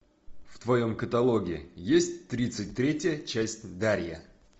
в твоем каталоге есть тридцать третья часть дарья